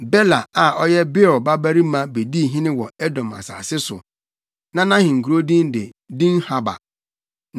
Bela a ɔyɛ Beor babarima bedii hene wɔ Edom asase so. Na nʼahenkurow din de Dinhaba.